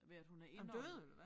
Ved at hun er indåndet